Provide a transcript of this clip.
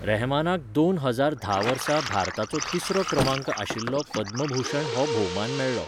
रहमानाक दोन हजार धा वर्सा भारताचो तिसरो क्रमांक आशिल्लो पद्मभूषण हो भोवमान मेळ्ळो.